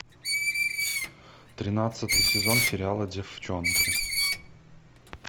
тринадцатый сезон сериала девчонки